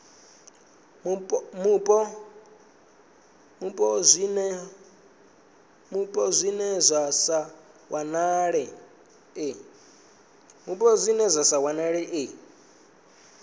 mupo zwine zwa sa wanalee